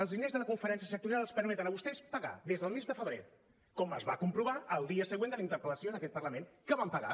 els diners de la conferència sectorial els permeten a vostès pagar des del mes de febrer com es va comprovar el dia següent de la interpel·lació en aquest parlament que van pagar